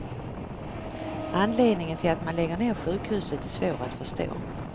Anledningen till att man lägger ner sjukhuset är svår att förstå.